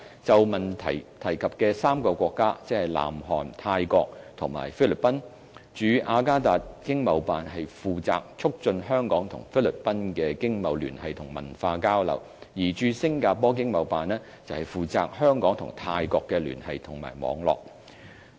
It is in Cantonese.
就質詢提及的3個國家，即南韓、泰國及菲律賓，駐雅加達經貿辦負責促進香港與菲律賓的經貿聯繫和文化交流，而駐新加坡經貿辦則負責香港與泰國的聯繫和網絡。